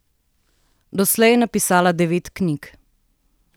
Doslej je napisala devet knjig.